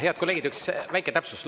Head kolleegid, üks väike täpsustus.